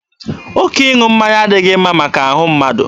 Oke ịṅụ mmanya adịghị mma maka ahụ mmadụ.